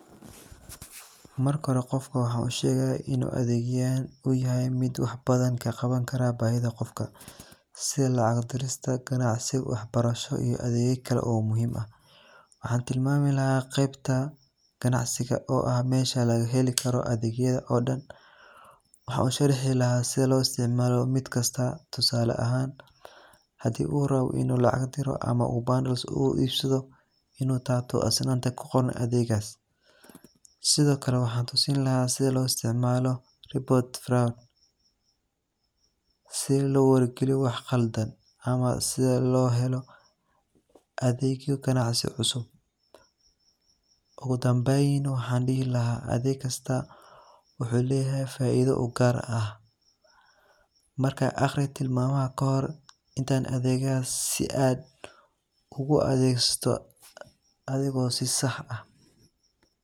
Marka xore gofka waxan ushegaya ini adegyaxan uyaxay mid wax badan kaqawankaro baxida gofka, si lacag dirista ganacsi wax barasho iyo adegyo kale oo muxiim ah, waxan tilmami laxa gebta ganacsiga o ah mesha lagaxeli karoo adegyada oo dan, waxan u sharxi laxaa sidhi loisticmalo mid kasta, tusaala ahan hadi uu rawo ini lacag diro ama u bundles u ibsado, inu tabto astan kugoran adegas, sidhokale waxan tusin laha sidha loisticmalo report fral si lo wacyi galiyo wax qaldan, ama sidha loxelo adegyo gacansi cusub, ogudambeyn waxan dixi laxaa adegkasta wuxu leyaxay faido ugaar ah, markan agri tilmama kaxor intan adegyaxasi aad adegsato ayago si sah ah.